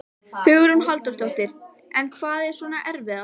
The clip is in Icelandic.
Hugrún Halldórsdóttir: En hvað er svona erfiðast?